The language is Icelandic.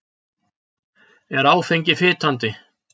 Er áfengi fitandi?